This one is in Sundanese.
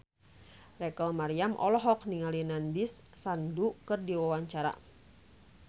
Rachel Maryam olohok ningali Nandish Sandhu keur diwawancara